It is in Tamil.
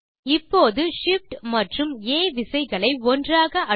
இப்போது Shift மற்றும் ஆ விசைகளை ஒன்றாக அழுத்தவும்